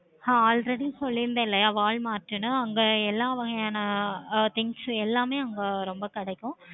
ஆஹ் already சொல்லி இருந்தேனாலைய Walmart அங்க எல்லா வகையான things எல்லாமே அங்க கிடைக்கும்.